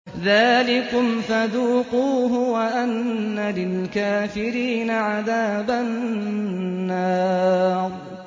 ذَٰلِكُمْ فَذُوقُوهُ وَأَنَّ لِلْكَافِرِينَ عَذَابَ النَّارِ